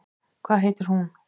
Hvað heitir hún?